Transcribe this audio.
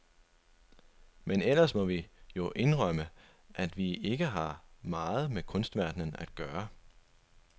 Men ellers må vi jo indrømme, at vi ikke har meget med kunstverdenen at gøre.